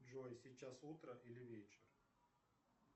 джой сейчас утро или вечер